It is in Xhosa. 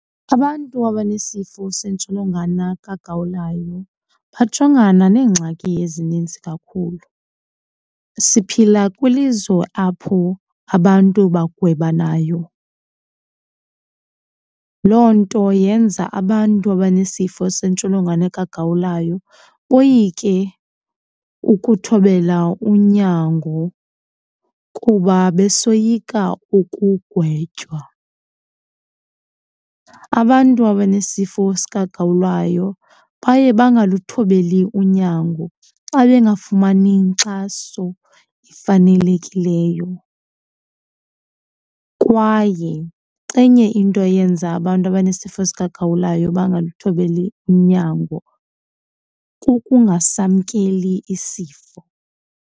Abantu abanesifo sentsholongwane kagawulayo bajongana neengxaki ezininzi kakhulu. Siphila kwilizwe apho abantu bagwebanayo, loo nto yenza abantu abanesifo sentsholongwane kagawulayo boyike ukuthobela unyango kuba besoyika ukugwetywa. Abantu abanesifo sikagawulayo baye bangaluthobeli unyango xa bengafumani inkxaso efanelekileyo. Kwaye enye into eyenza abantu abanesifo sikagawulayo bangaluthobeli unyango kukungasamkeli isifo.